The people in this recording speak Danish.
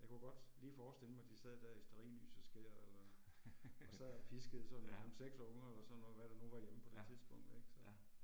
Jeg kunne godt lige forstille mig de sad der i stearinlysets skær og og sad piskede sådan nærmest 6 unger eller sådan noget hvad der nu var hjemme på det tidspunkt ik så